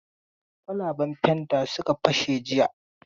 Kwalaban fanta suka fashe jiya.